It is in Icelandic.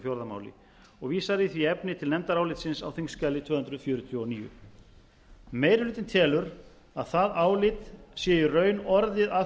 fjórða máli og vísað í því efni til nefndarálitsins á þingskjali tvö hundruð fjörutíu og níu meiri hlutinn telur að það álit sé í raun orðið að